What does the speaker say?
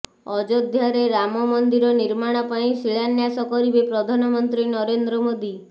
ଅଯୋଧ୍ୟାରେ ରାମମନ୍ଦିର ନିର୍ମାଣ ପାଇଁ ଶିଳାନ୍ୟାସ କରିବେ ପ୍ରଧାନମନ୍ତ୍ରୀ ନରେନ୍ଦ୍ର ମୋଦି